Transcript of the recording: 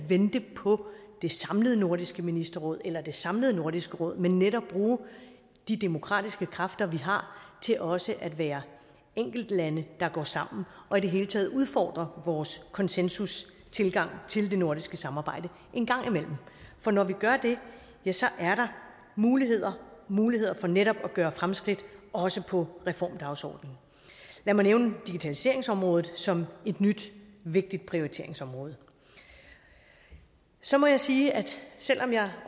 vente på det samlede nordisk ministerråd eller det samlede nordisk råd men netop bruge de demokratiske kræfter vi har til også at være enkeltlande der går sammen og i det hele taget udfordre vores konsensustilgang til det nordiske samarbejde en gang imellem for når vi gør det er der muligheder muligheder for netop at gøre fremskridt også på reformdagsordenen lad mig nævne digitaliseringsområdet som et nyt vigtigt prioriteringsområde så må jeg sige at selv om jeg